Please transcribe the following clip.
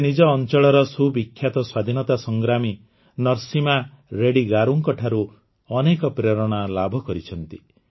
ସେ ନିଜ ଅଂଚଳର ସୁବିଖ୍ୟାତ ସ୍ୱାଧୀନତା ସଂଗ୍ରାମୀ ନରସିମା ରେଡ୍ଡି ଗାରୁଙ୍କ ଠାରୁ ଅନେକ ପ୍ରେରଣା ଲାଭ କରିଛନ୍ତି